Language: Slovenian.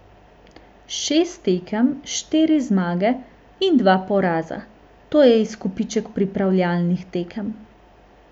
Šest tekem, štiri zmage in dva poraza, to je izkupiček pripravljalnih tekem.